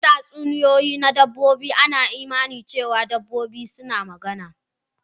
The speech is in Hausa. A cikin tatsuniyoyi na dabba, an yi imani da cewa dabbobi suna magana.